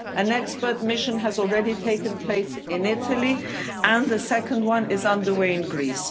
ground. An expert mission has already taken place in Italy and a second one is underway in